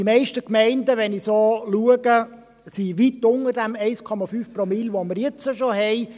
Die meisten Gemeinden, wenn ich so schaue, sind weit unter den 1,5 Promille, welche wir jetzt schon haben.